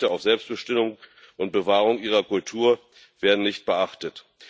Ihre Rechte auf Selbstbestimmung und Bewahrung ihrer Kultur werden nicht beachtet.